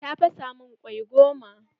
Ta fasa min kwai goma.